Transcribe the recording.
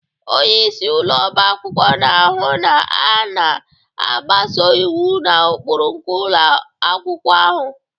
Onye isi ụlọ ọba akwụkwọ na-ahụ na a na-agbaso iwu na ụkpụrụ nke ụlọ akwụkwọ ahụ